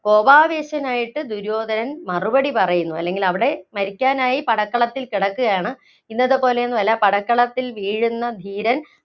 കോപാവേശനായിട്ട് ദുര്യോധനൻ മറുപടി പറയുന്നു, അല്ലെങ്കില്‍ അവിടെ മരിക്കാനായി പടക്കളത്തില്‍ കിടക്കുകയാണ്. ഇന്നത്തെപ്പോലെയൊന്നും അല്ല പടക്കളത്തില്‍ വീഴുന്ന ധീരന്‍